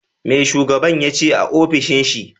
Me shugaban yace a ofishin shi?